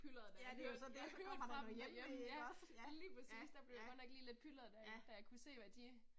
Ja det er jo så det så kommer der noget hjemve ikke også, ja ja, ja. Ja